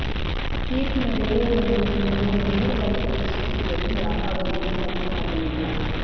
ತೀರ್ಪಿನ ವೇಳೆ ನನ್ನ ನಿಲುವನ್ನು ನೇರವಾಗಿ ತಿಳಿಸುತ್ತಿದ್ದರಿಂದ ಅವರಿಗೆ ಪಥ್ಯ ಆಗಲಿಲ್ಲ